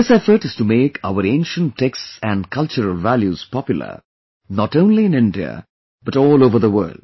This effort is to make our ancient texts and cultural values popular not only in India but all over the world